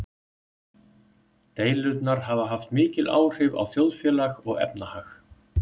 Deilurnar hafa haft mikil áhrif á þjóðfélag og efnahag.